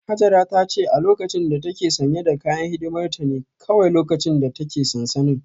Hajara ta ce a lokacin da ta ke sanye da kayan hidimar ta ne kawai lokacin da ta ke sansanin